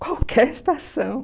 Qualquer estação.